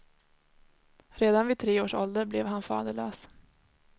Redan vid tre års ålder blev han faderlös.